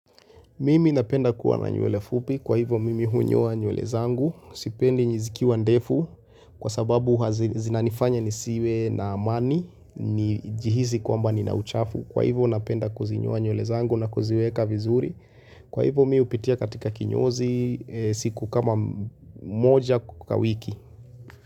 Mimi napenda kuwa na nywele fupi, kwa hivyo mimi hunyoa nywele zangu, sipendi zikiwa ndefu, kwa sababu zinanifanya nisiwe na amani, nijihisi kwamba nina uchafu, kwa hivyo napenda kuzinyoa nywele zangu na kuziweka vizuri, kwa hivyo mimi hupitia katika kinyozi siku kama moja kwa wiki.